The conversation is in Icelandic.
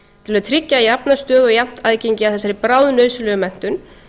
til að tryggja jafna stöðu og jafnt aðgengi að þessari bráðnauðsynlegu menntun